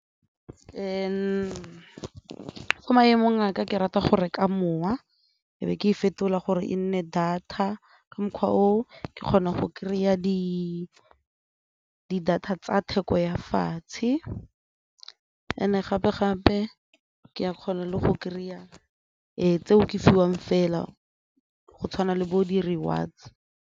Mo maemo a ka ke rata go reka mowa e be ke e fetola gore e nne data ka mokgwa oo ke kgona go kry-a di-data tsa theko ya fatshe and-e gape-gape ke a kgona le go kry-a tseo ke fiwang fela go tshwana le bo di-rewards.